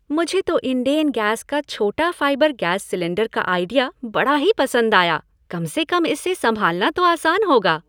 मुझे तो इंडेन गैस का छोटा फाइबर गैस सिलेंडर का आइडिया बड़ा ही पसंद आया, कम से कम इसे संभालना तो आसान होगा।